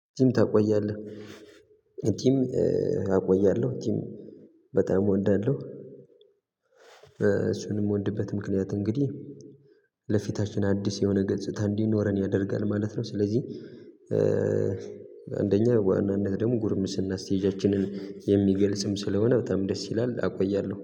ቲም ታቆያለህ ቲም አቆያለሁ ቲም በጣም እወዳለሁ። እሱን ምወድበት ምክንያት እንግዲህ ለፊታችን አዲስ የሆነ ገጽታ እንዲኖረን ያደርጋል ማለት ነው። ስለዚህ አንደኛ በዋናነት ደግሞ ጉርምስና ስቴጃችንን የሚገልጽም ስለሆነ በጣም ደስ ይላል አቆያለሁ